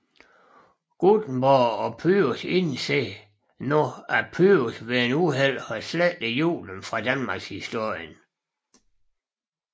Guttenborg og Pyrus indser nu at Pyrus ved et uheld har slettet julen fra Danmarkshistorien